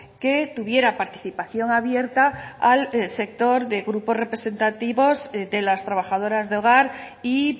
que tuviera participación abierta al sector de grupos representativos de las trabajadoras de hogar y